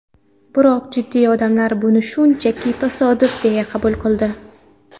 Biroq jiddiy odamlar buni shunchaki tasodif deya qabul qildi.